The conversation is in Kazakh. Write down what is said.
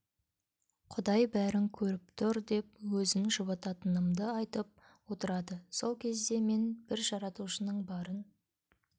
құдай бәрін көріп тұр деп өзін жұбататынымды айтып отырады сол кезде мен бір жаратушының барын